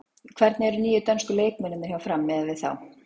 Hvernig eru nýju dönsku leikmennirnir hjá Fram miðað við þá?